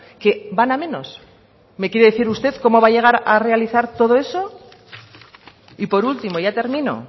que van a menos me quiere decir usted cómo va a llegar a realizar todo eso y por último ya termino